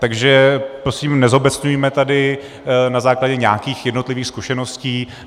Takže prosím nezobecňujme tady na základě nějakých jednotlivých zkušeností.